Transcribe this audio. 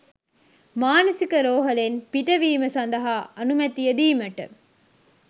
“මානසික රෝහලෙන් පිටවීම සඳහා අනුමැතිය දීමට